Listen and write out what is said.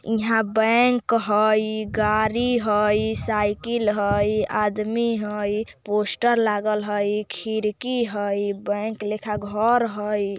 यहां बैंक हाई गाड़ी है साइकिल हाई आदमी हाई पोस्टर लागल हाई खिड़की हाई बैंक लिखा घर हाई।